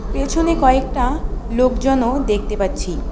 পেছনে কয়েকটা লোকজনও দেখতে পাচ্ছি।